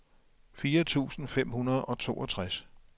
fire tusind fem hundrede og toogtres